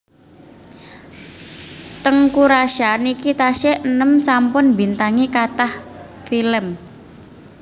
Teuku Rasya niki tasih enem sampun mbintangi kathah film